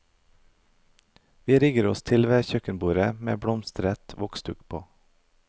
Vi rigger oss til ved kjøkkenbordet med blomstret voksduk på.